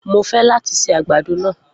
Mo fẹ́ láti se àgbàdo náà